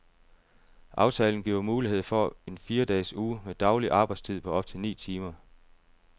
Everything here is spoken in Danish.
Aftalen giver mulighed for en firedages uge med daglig arbejdstid på op til ni timer.